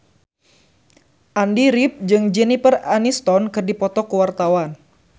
Andy rif jeung Jennifer Aniston keur dipoto ku wartawan